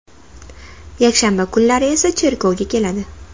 Yakshanba kunlari esa cherkovga keladi.